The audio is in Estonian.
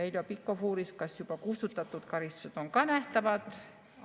Heljo Pikhof uuris, kas juba kustutatud karistused on ka nähtavad.